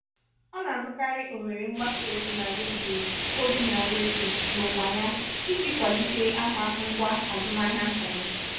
ọ na-azụkarị ohere mgbasa ozi na redio ozi na redio n'onwa ya iji kwalite aha ngwá azụmahịa nta ya.